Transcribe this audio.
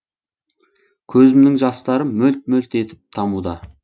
көзімнің жастары мөлт мөлт етіп тамуда